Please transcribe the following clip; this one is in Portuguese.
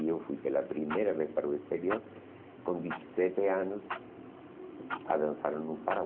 E eu fui pela primeira vez para o exterior com dezessete anos a dançar no